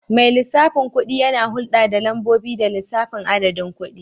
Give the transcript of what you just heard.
Mai lissafin kuɗi yana hulɗa da lambobi da lissafin adadin kuɗi.